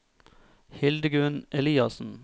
Hildegunn Eliassen